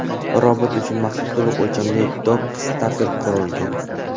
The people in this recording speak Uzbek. Robot uchun maxsus to‘liq o‘lchamli dok-stapel qurilgan.